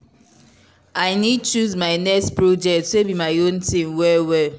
i need choose my next project wey be my own thing well well.